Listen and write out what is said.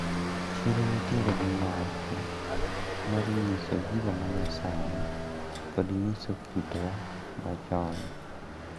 Chiro nitiere gi nyasi mar nyiso gigo manyasani kod nyiso kitwa machon.